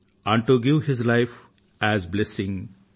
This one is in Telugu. and to give his life as blessing